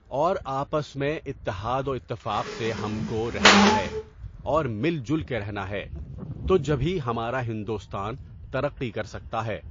اور آپس میں اتحاد و اتفاق سے ہم کو رہنا ہے اور مِل جُھل کے رہنا ہے تو جبھی ہمارا ہندوستان ترقی کر سکتا ہے.